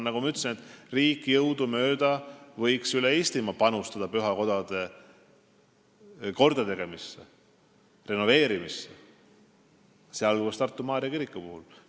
Nagu ma ütlesin, riik võiks jõudumööda üle Eestimaa panustada pühakodade kordategemisse, renoveerimisse, sh Tartu Maarja kiriku kordategemisse.